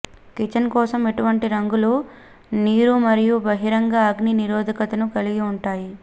kitchen కోసం ఇటువంటి రంగులు నీరు మరియు బహిరంగ అగ్ని నిరోధకతను కలిగి ఉంటాయి